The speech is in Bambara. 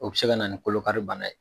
O bɛ se ka na ni kolo kari bana ye.